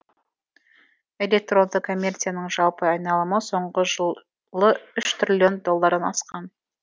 электронды коммерцияның жалпы айналымы соңғы жылы үш триллион доллардан асқан